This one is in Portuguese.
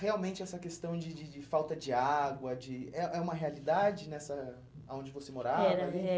Realmente essa questão de de de falta de água de é é uma realidade nessa onde você morava? Era, eh